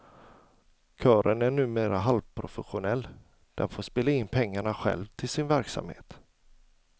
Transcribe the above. Kören är numera halvprofessionell, den får spela in pengarna själv till sin verksamhet.